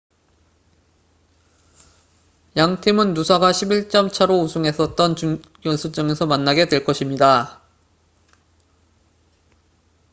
양 팀은 누사가 11점 차로 우승했었던 준결승전에서 만나게 될 것입니다